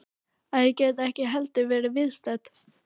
Að ég gæti ekki heldur verið viðstödd.